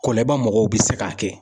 Kolɛba mɔgɔw bɛ se k'a kɛ.